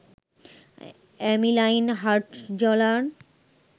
অ্যামি Lynn Hartzler